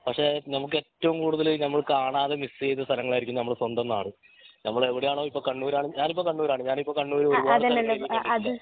പക്ഷെ ഞമ്മക് ഏറ്റവും കൂടുതൽ ഞമ്മള് കാണാതെ മിസ് ചെയ്ത അസ്ഥലങ്ങളായിരിക്കും ഞമ്മളെ സ്വന്തം നാട് ഞമ്മള് എവിടെയാണോ ഇപ്പൊ കണ്ണൂരാണെങ്കി ഞാൻ ഇപ്പൊ കണ്ണൂർ ആണ് ഞാൻ ഇപ്പൊ കണ്ണൂർ ഒരുപാട് സ്ഥലനങ്ങളൊന്നും കണ്ടിട്ടില്ല